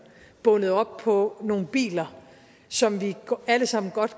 bundet op på nogle biler som vi godt alle sammen